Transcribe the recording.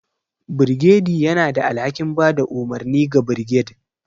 Birgediy yana da alhakin ba da umarni ga birged,